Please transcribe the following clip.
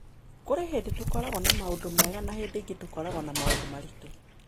Kũrĩ hĩndĩ tũkoragwo na maũndũ mega na hĩndĩ ĩngĩ tũkoragwo na maũndũ maritũ.